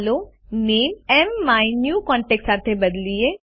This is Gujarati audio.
ચાલો નેમ માયન્યુકોન્ટેક્ટ સાથે બદલીએ